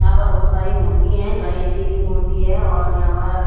यहाँ पर बहत सारे मूर्ति है गणेश जी की मूर्ति है और यहाँ पर--